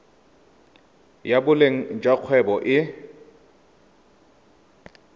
ya boleng jwa kgwebo e